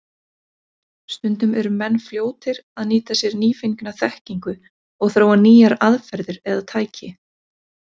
Stundum eru menn fljótir að nýta sér nýfengna þekkingu og þróa nýjar aðferðir eða tæki.